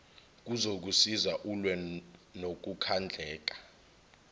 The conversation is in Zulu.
kuzokusiza ulwe nokukhandleka